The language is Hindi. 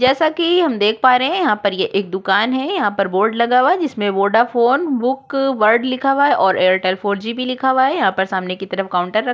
जैसा कि हम देख पा रहे है यहाँ पर ये एक दुकान है यहाँ पर बोर्ड लगा हुआ है जिसमें वोडाफोन बुक वर्ल्ड लिखा हुआ है और एयरटेल फोर जी भी लिखा हुआ है यहाँ पर सामने की तरफ काउंटर रख--